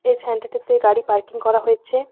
এ সেন্টারটিতে গাড়ি পার্কিং করা হয়েচ্ছে।